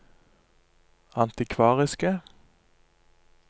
antikvariske